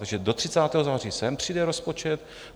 Takže do 30. září sem přijde rozpočet.